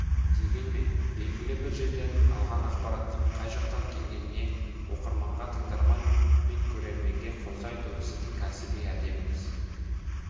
дегенмен белгілі бір жерден алған ақпараттың қай жақтан келгенін оқырманға тыңдарман мен көрерменге қоса айту сіздің кәсіби әдебіңіз